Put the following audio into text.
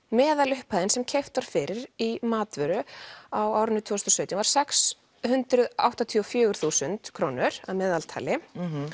meðalupphæðin sem keypt var fyrir í matvöru á árinu tvö þúsund og sautján var sex hundruð áttatíu og fjögur þúsund krónur að meðaltali